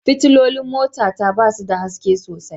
Fitilolin mota ta ba su da haske sosai